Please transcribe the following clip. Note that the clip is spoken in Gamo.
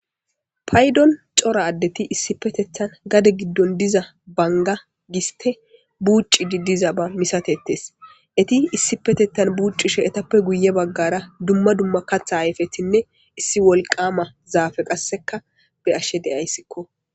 Paydon cora addeti issi petethan gade giddon diza banga giste buuci di diza ba misatettes eti issi petetan buuccishe etappe guye baggara dumma dumma katha ayfetinne issi wolqama zaafe qasseka be ashshe deyayssikko.